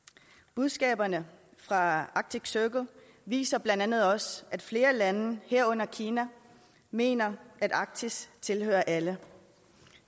budskaberne fra arctic circle viser blandt andet også at flere lande herunder kina mener at arktis tilhører alle